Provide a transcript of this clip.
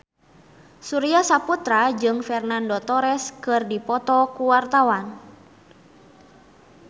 Surya Saputra jeung Fernando Torres keur dipoto ku wartawan